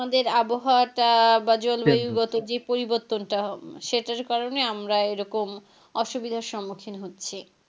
আমাদের আবহাওয়া টা যে পরিবর্তনটা সেটার কারনে আমরা এরকম অসুবিধার সম্মুখীন হচ্ছি।